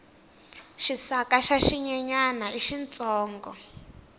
xisaka xa xinyenyani i xintsongo